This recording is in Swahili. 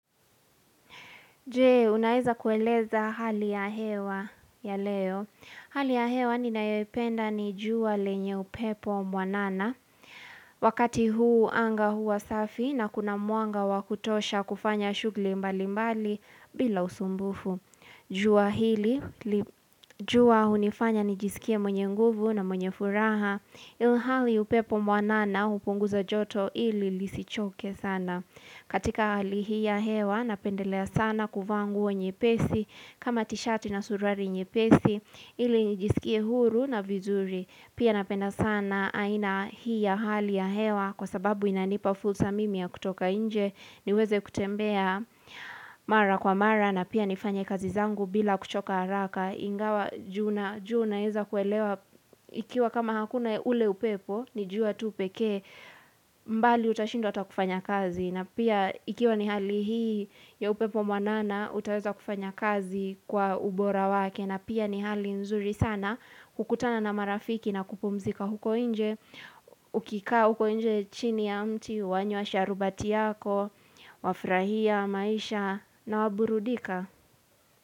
Je, unaeza kueleza hali ya hewa ya leo. Hali ya hewa ninaependa ni jua lenye upepo mwanana. Wakati huu anga hua safi na kuna mwanga wa kutosha kufanya shugli mbali mbali bila usumbufu. Jua hili, jua hunifanya nijisikie mwenye nguvu na mwenye furaha. Ili hali upepo mwanana, hupunguza joto ili lisichoke sana. Katika hali hii ya hewa napendelea sana kuvaa nguo nyepesi kama tishati na suruari nyepesi ili nijisikie huru na vizuri Pia napenda sana aina hii ya hali ya hewa Kwa sababu inanipa fursa mimi ya kutoka nje niweze kutembea mara kwa mara na pia nifanye kazi zangu bila kuchoka haraka Ingawa ju na jua naeza kuelewa Ikiwa kama hakuna ule upepo ni jua tu pekee mbali utashindwa hata kufanya kazi na pia ikiwa ni hali hii ya upepo mwanana, utaweza kufanya kazi kwa ubora wake. Na pia ni hali nzuri sana, hukutana na marafiki na kupumzika huko inje. Ukikaa huko nje chini ya mti, wanywa sharubati yako, wafurahia, maisha na waburudika.